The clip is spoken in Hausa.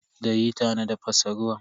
Da hita na tafasa ruwan.